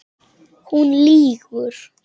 Hún lýgur.